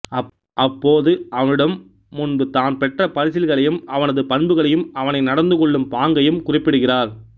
அப்போது அவனிடம் முன்பு தான் பெற்ற பரிசில்களையும் அவனது பண்புகளையும் அவனை நடந்துகொள்ளும் பாங்கையும் குறிப்பிடுகிறார்